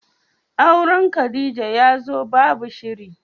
Auren Khadijah yazo babu shiri.